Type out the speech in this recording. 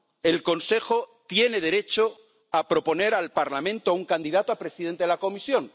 El Consejo tiene derecho a proponer al Parlamento un candidato a presidente de la Comisión.